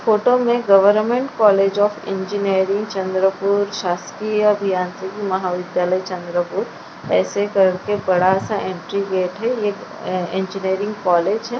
Photo में government college of engineering Chandrapur शासकीय अभियांत्रिकी महाविद्यालय चंद्रपुर ऐसे करके बड़ा सा एंट्री गेट है यह ऐ इंजीनियरिंग कॉलेज है।